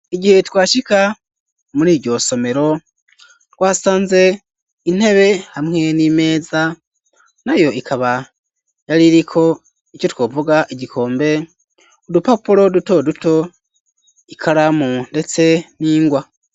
Igihe twashika muriryo somero twasanze intebe hamwe n'imeza nayo ikaba yari iriko ico twovuga igikombe udupapuro duto duto ikaramu ndetse n'ingwa.